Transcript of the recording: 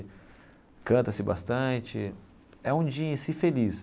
Canta-se bastante é um dia em si feliz.